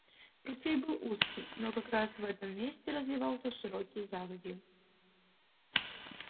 ручей был узкий но как раз в этом месте разливался широкий заводью